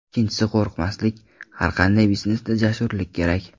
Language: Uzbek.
Ikkinchisi qo‘rqmaslik, har qanday biznesda jasurlik kerak.